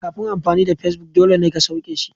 Kafin amfani da Facebook dole ne ka sauke shi.